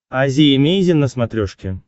азия эмейзин на смотрешке